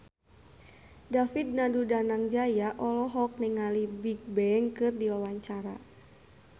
David Danu Danangjaya olohok ningali Bigbang keur diwawancara